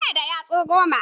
Mu na da yatsu goma.